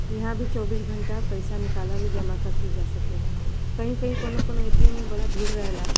इहां भी चौबीस घंटा पईसा निकालल उ जमा करस्ल जा सकेला। कहीं-कहीं कौनों-कौनों ए.टी.एम. में बड़ा भीड़ रहेला।